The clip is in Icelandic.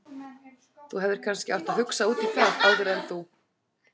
Þú hefðir kannski átt að hugsa út í það áður en þú.